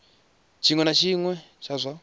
tshiṅwe na tshiṅwe tsha zwa